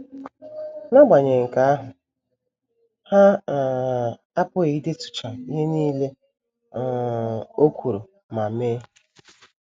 N’agbanyeghị nke ahụ, ha um apụghị idetucha ihe nile um o kwuru ma mee.